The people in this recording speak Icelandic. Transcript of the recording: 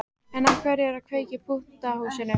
En af hverju að kveikja í pútnahúsi?